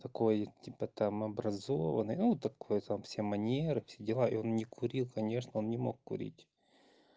такой типа там образованный ну такой там все манеры все дела и он не курил конечно он не мог курить